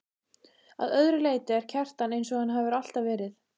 Að öðru leyti er Kjartan einsog hann hefur alltaf verið.